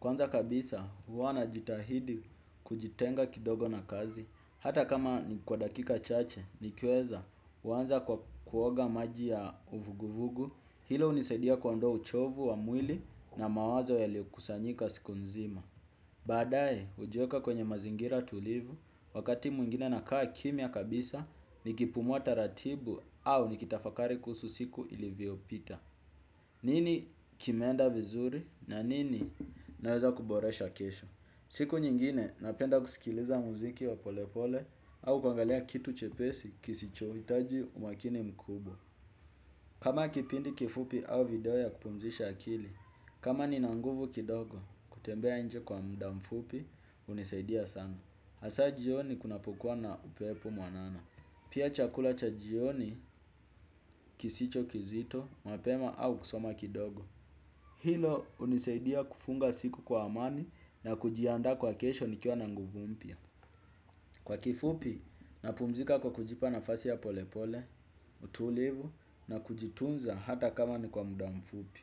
Kwanza kabisa, huwa na jitahidi kujitenga kidogo na kazi. Hata kama ni kwa dakika chache, ni kiweza, uanza kwa kuoga maji ya uvuguvugu, hilo unisaidia kuondo uchovu wa mwili na mawazo yaliyo kusanyika siku nzima. Baadaye ujiweka kwenye mazingira tulivu wakati mwingine nakaa kimia kabisa ni kipumua taratibu au nikitafakari kuhusu siku ili vyopita. Nini kimeenda vizuri na nini naweza kuboresha kesho? Siku nyingine napenda kuskiliza muziki wa pole pole au kuangalia kitu chepesi kisichohitaji umakini mkubwa. Kama kipindi kifupi au video ya kupumzisha akili, kama ni nanguvu kidogo kutembea nje kwa mda mfupi unisaidia sana. Hasa jioni kunapokuwa na upepo mwanana. Pia chakula cha jioni kisicho kizito, mapema au kusoma kidogo. Hilo unisaidia kufunga siku kwa amani na kujiandaa kwa kesho nikiwa na nanguvu mpya. Kwa kifupi, napumzika kwa kujipa nafasi ya polepole, utulivu na kujitunza hata kama ni kwa muda mfupi.